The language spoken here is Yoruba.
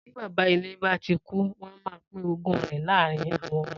Tí baba ilé ba tí kú, wön má pin ògún ré láàrin awön ömö.